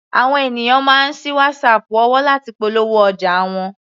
Àwọn ènìyàn máa ń sí Whatsapp òwò láti polówó ọjà wọn.